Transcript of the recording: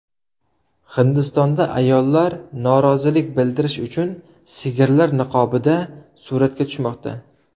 Hindistonda ayollar norozilik bildirish uchun sigirlar niqobida suratga tushmoqda.